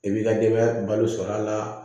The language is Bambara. I b'i ka denbaya balo sɔrɔ a la